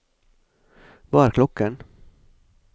hva er klokken